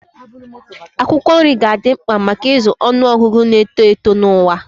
Akwụkwọ nri ga-adị mkpa maka ịzụ ọnụ ọgụgụ na-eto eto n'ụwa.